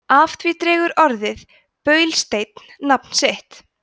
af því dregur orðið baulusteinn nafn sitt